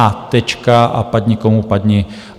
A tečka a padni komu padni.